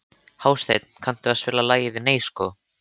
Hásteinn, kanntu að spila lagið „Nei sko“?